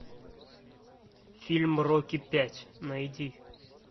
фильм рокки пять найди